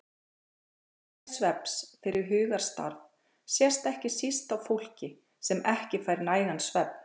Mikilvægi svefns fyrir hugarstarf sést ekki síst á fólki sem ekki fær nægan svefn.